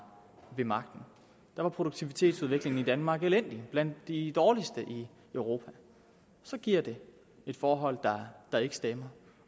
ved magten da var produktivitetsudviklingen i danmark elendig og blandt de dårligste i europa så giver det et forhold der ikke stemmer